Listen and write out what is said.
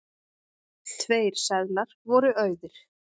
Tveir seðlar voru auðir.